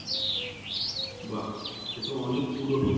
বাহ সে তো অনেক পুরোনো